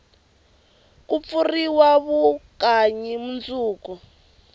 ku pfuriwa vukanyi mundzuku